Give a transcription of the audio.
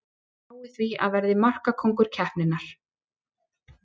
Spái því að verði markakóngur keppninnar!